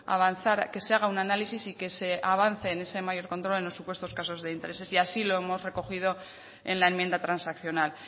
avanzar que se haga un análisis y que se avance en ese mayor control en los supuestos casos de intereses y así lo hemos recogido en la enmienda transaccional